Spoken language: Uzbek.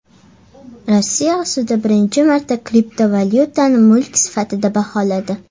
Rossiya sudi birinchi marta kriptovalyutani mulk sifatida baholadi.